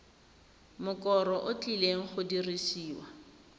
mokoro o tlileng go dirisiwa